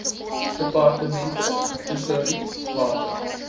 departemente tesourie water